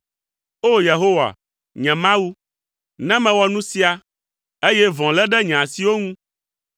O! Yehowa, nye Mawu, ne mewɔ nu sia, eye vɔ̃ lé ɖe nye asiwo ŋu,